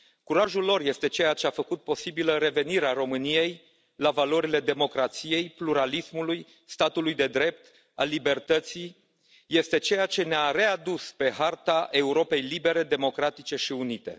Curajul lor este ceea ce a făcut posibilă revenirea României la valorile democrației, pluralismului, statului de drept, a libertății. Este ceea ce ne a readus pe harta Europei libere, democratice și unite.